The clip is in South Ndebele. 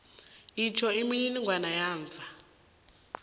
itjho imininingwana yamva